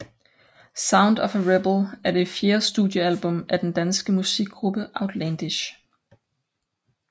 Sound of a Rebel er det fjerde studiealbum af den danske musikgruppe Outlandish